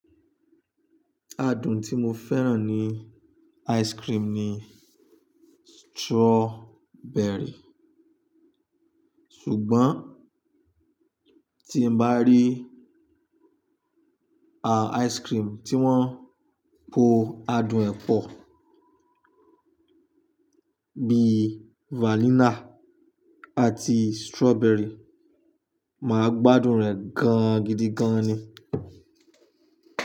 Adùn tí mo fẹ́ràn ní ice cream ni strawberry. Ṣùgbọ́n tí n bá rí à ice cream tí wọ́n po adùn ẹ́ pọ̀, bíì vanilla àti strawberry, màá gbádùn rẹ̀ gan-an gidi gan ni.